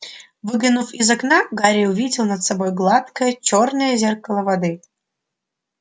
выглянув из окна гарри увидел над собой гладкое чёрное зеркало воды